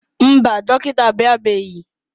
Mba, dọkịta abịabeghị.